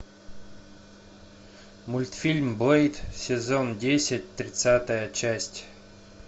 мультфильм блэйд сезон десять тридцатая часть